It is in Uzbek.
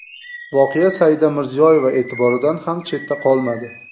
Voqea Saida Mirziyoyeva e’tiboridan ham chetda qolmadi .